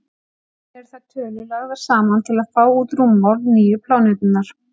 Síðan eru þær tölur lagðar saman til að fá út rúmmál nýju plánetunnar.